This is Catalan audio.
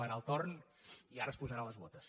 barà el torn i ara es posarà les botes